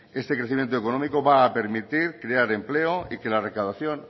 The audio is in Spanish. este crecimiento económico va a permitir crear empleo y que la recaudación